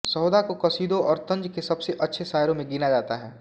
सौदा को क़सीदों और तंज़ के सबसे अच्छे शायरों में गिना जाता है